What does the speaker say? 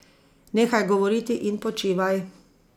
Nehaj govoriti in počivaj.